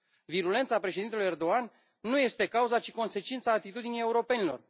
Virulența președintelui Erdogan nu este cauza, ci consecința atitudinii europenilor.